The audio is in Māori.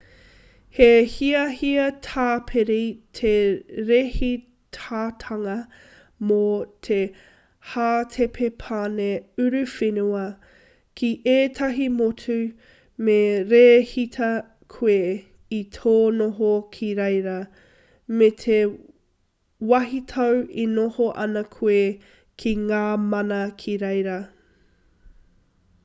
he hiahia tāpiri te rēhitatanga mō te hātepe pane uruwhenua ki ētahi motu me rēhita koe i tō noho ki reira me te wāhitau e noho ana koe ki ngā mana ki reira